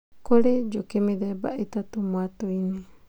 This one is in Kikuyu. Kũrĩ njũkĩ mĩthemba ĩtatũ mwatũ-inĩ